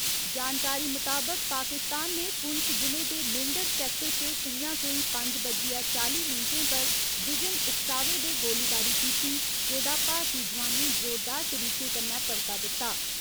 जानकारी मुताबक पाकिस्तान ने पुंछ जि'ले दे मेंढर सैक्टर च सं'ञा कोई पंज बज्जियै चाली मिन्टें पर बिजन उकसावे दे गोलीबारी कीती, जेह्दा भारती जोआनें जोरदार तरीके कन्नै परता दित्ता।